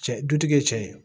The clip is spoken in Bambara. Cɛ dutigi ye cɛ ye